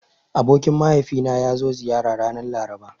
Abokin mahaifina ya zo ziyara ranar Laraba.